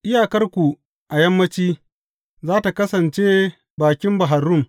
Iyakarku a yammanci, za tă kasance bakin Bahar Rum.